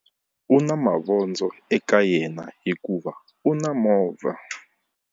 U na mavondzo eka yena hikuva u na movha.